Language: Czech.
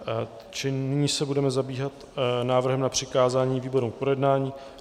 Čili nyní se budeme zabývat návrhem na přikázání výborům k projednání.